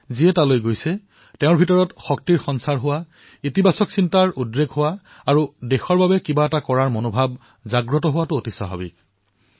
যিসকল লোকে তালৈ গৈছে তেওঁলোকৰ হৃদয়ত শক্তিৰ সঞ্চাৰ হোৱাটো ধনাত্মক ভাৱৰ সৃষ্টি হোৱাটো দেশৰ বাবে কিবা এটা কাম কৰা উদ্দীপনাৰ সৃষ্টি হোৱাটো অতিশয় স্বাভাৱিক কথা